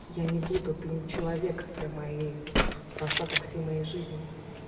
я не буду ты не человек для моей вот остаток всей моей жизни